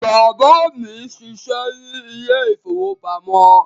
Bàbá mí n ṣiṣẹ ní ile-ìfowópamó